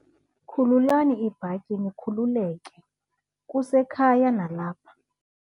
Khululani iibhatyi nikhululeke, kusekhaya nalapha.